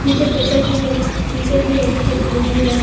नीचे पेपर भी है पेपर भी है और पीछे घर भी है।